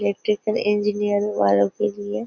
यह इंजिनीयर वालों के लिए --